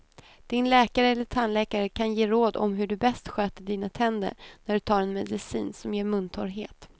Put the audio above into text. Din läkare eller tandläkare kan ge råd om hur du bäst sköter dina tänder när du tar en medicin som ger muntorrhet.